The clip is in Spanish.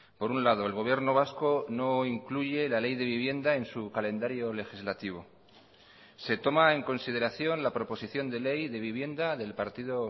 por un lado el gobierno vasco no incluye la ley de vivienda en su calendario legislativo se toma en consideración la proposición de ley de vivienda del partido